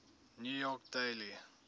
new york daily